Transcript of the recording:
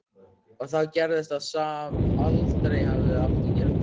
Og þá gerðist það sem aldrei hefði átt að gerast.